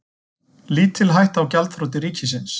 Lítil hætta á gjaldþroti ríkisins